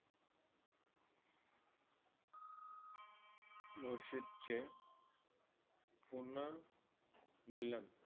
मुर्शिद चे पूर्ण मिलन.